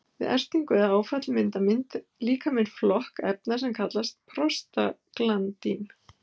Við ertingu eða áfall myndar líkaminn flokk efna sem kallast prostaglandín.